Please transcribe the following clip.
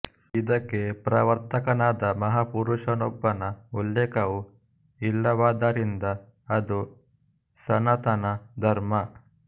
ಇದಕ್ಕೆ ಪ್ರವರ್ತಕನಾದ ಮಹಾಪುರುಷನೊಬ್ಬನ ಉಲ್ಲೇಖವೂ ಇಲ್ಲವಾದ್ದರಿಂದ ಅದು ಸನಾತನ ಧರ್ಮ